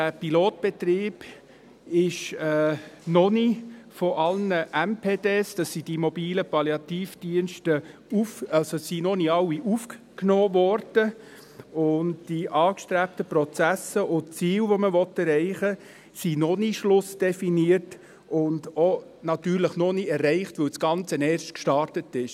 In diesem Pilotbetrieb wurden noch nicht alle mobilen Palliativdienste (MPD) aufgenommen, und die angestrebten Prozesse und die Ziele, die man erreichen will, sind noch nicht schlussdefiniert und natürlich auch noch nicht erreicht, weil das Ganze erst gestartet ist.